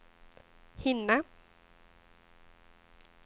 hinna